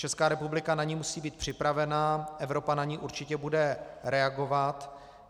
Česká republika na ni musí být připravena, Evropa na ni určitě bude reagovat.